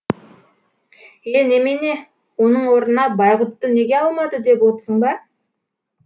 е немене оның орнына байғұтты неге алмады деп отсың ба